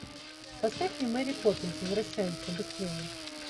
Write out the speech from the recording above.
поставь мне мэри поппинс возвращается быстрее